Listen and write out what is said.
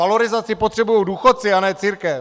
Valorizaci potřebují důchodci, a ne církev!